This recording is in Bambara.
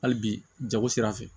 Hali bi jago sira fɛ